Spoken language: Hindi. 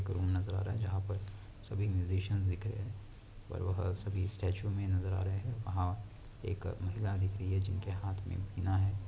एक रूम नजर आ रहा है जहाँ पर सभी मुजीसीयन्स दिख रहे है पर वह सभी स्टैचू मे नजर आ रहे है वहा एक महिला दिख रही है जिनके हाथ में विना है।